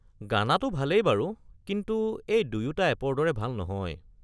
গানাটো ভালেই বাৰু কিন্তু এই দুয়োটা এপৰ দৰে ভাল নহয়।